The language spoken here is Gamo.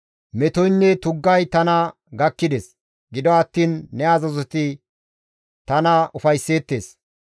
Metoynne tuggay tana gakkides; gido attiin ne azazoti tana ufaysseettes.